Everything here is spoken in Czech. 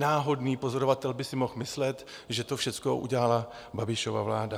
Náhodný pozorovatel by si mohl myslet, že to všechno udělala Babišova vláda.